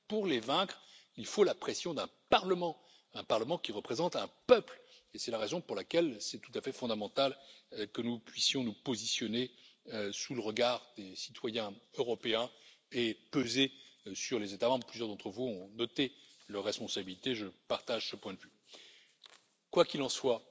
Pour les vaincre, il faut la pression d'un Parlement, un Parlement qui représente un peuple et c'est la raison pour laquelle c'est tout à fait fondamental que nous puissions nous positionner sous le regard des citoyens européens et peser sur les États membres. Plusieurs d'entre vous ont noté leur responsabilité, je partage ce point de vue. Quoi qu'il en